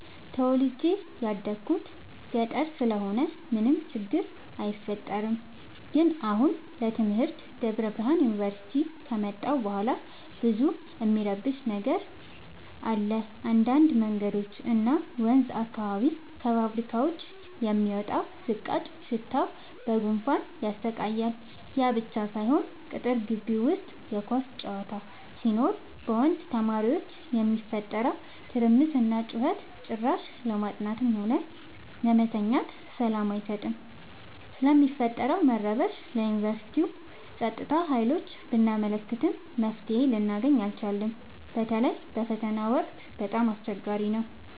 ተወልጄ የደኩት ገጠር ስለሆነ ምንም ችግር አይፈጠርም። ግን አሁን ለትምህርት ደብረብርሃን ዮንቨርሲቲ ከመጣሁ በኋላ ብዙ እሚረብሽ ነገር አለ እንዳድ መንገዶች እና ወንዝ አካባቢ ከፋብካዎች የሚወጣው ዝቃጭ ሽታው በጉንፋን ያሰቃያል። ያብቻ ሳይሆን ቅጥር ጊቢ ውስጥ የኳስ ጨዋታ ሲኖር በወንድ ተማሪዎች የሚፈጠረው ትርምስና ጩኸት ጭራሽ ለማጥናትም ሆነ ለመተኛት ሰላም አይሰጥም። ስለሚፈጠረው መረበሽ ለዮንቨርስቲው ፀጥታ ሀይሎች ብናመለክትም መፍትሔ ልናገኝ አልቻልም። በተለይ በፈተና ወቅት በጣም አስቸገሪ ነው።